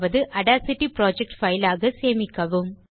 Audacity project file ஆக சேமிக்கவும்